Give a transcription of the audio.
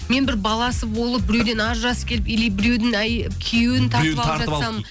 мен бір баласы болып біреуден ажырасып келіп или біреудің күйеуін тартып алып жатсам